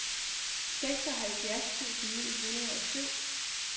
seksoghalvfjerds tusind ni hundrede og syv